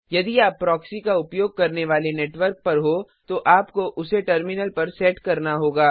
यदि आप प्रॉक्सी का उपयोग करने वाले नेटवर्क पर हो तो आपको उसे टर्मिनल पर सेट करना होगा